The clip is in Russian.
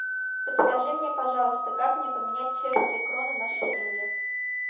подскажи мне пожалуйста как мне поменять чешские кроны на шиллинги